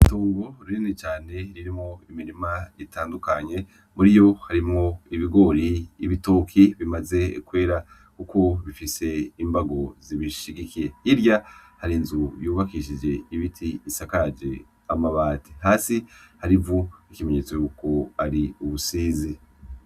Itongo rinini cane ririmwo imirima itandukanye muriyo harimwo ibigori, ibitoki bimaze kwera kuko bifise imbago zibishigikiye hirya hari inzu yubakishije ibiti isaje amababati hasi hari ivu nkikimenyetso yuko ari ubusizi.